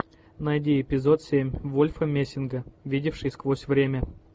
найди эпизод семь вольфа мессинга видевший сквозь время